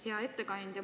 Hea ettekandja!